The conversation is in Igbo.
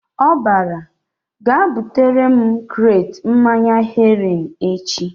Ọ bara "Gaa butere m kret mmanya Heroin echi!"